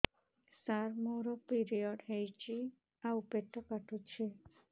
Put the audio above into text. ସାର ମୋର ପିରିଅଡ଼ ହେଇଚି ଆଉ ପେଟ କାଟୁଛି